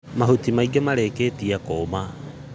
Mahuti maingĩ marĩkĩtie kũma.